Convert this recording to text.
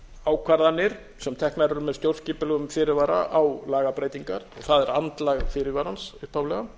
ákvarðanir sem teknar eru með stjórnskipulegum fyrirvara á lagabreytingar og það er andlag fyrirvarans upphaflega